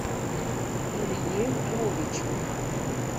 илье львовичу